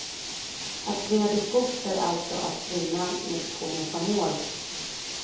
Att springa till skogs är alltså att springa med skogen som mål.